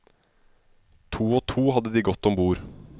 To og to hadde de gått ombord.